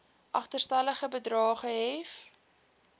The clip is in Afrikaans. agterstallige bedrae gehef